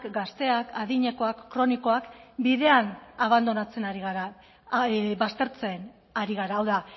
gazteak adinekoak kronikoak bidean abandonatzen ari gara baztertzen ari gara hau da